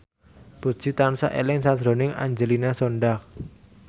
Puji tansah eling sakjroning Angelina Sondakh